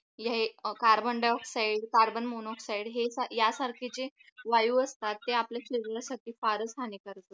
हे carbon dioxide carbon monoxide हे यासारखे जे वायू असतात ते आपल्या शरीरासाठी फारच हानिकारक